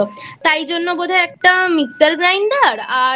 তাইজন্য বোধ হয় একটা Mixergrinder আর